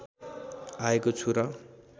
आएको छु र